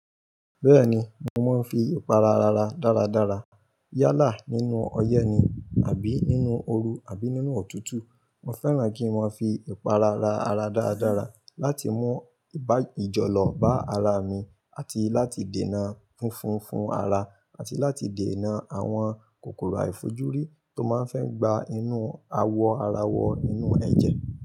Bẹ́ẹ̀ni, mo máa ń fi ìpara ra ara dáradára yálà nínú ọyẹ́ ni àbí nínú ooru àbí nínú ọ̀tútù. Mo fẹ́ràn kí mọ fi ìpara ra ara dáradára láti mú ìbá ìjọlọ bá ara mi àti láti dènà funfun fún ara àti láti dènà àwọn kòkòrò àìfojúrí tó máa ń fẹ́ gba inú awọ ara wọ inú ẹ̀jẹ̀.